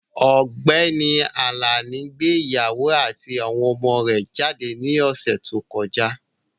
Ọ̀gbẹ́ni Àlàní gbé ìyàwó àti àwọn ọmọ rúbọ jáde ní ọ̀sè tó kọjá.